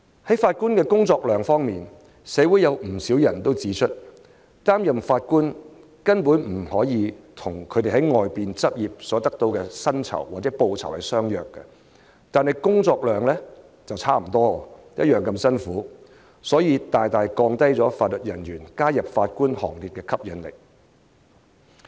就法官的工作量，社會上有不少人指出，擔任法官根本不可以跟他們在外面執業所得到的薪酬相比，但工作量卻差不多，同樣辛苦，因而大大降低法律人員加入法官行列的吸引力。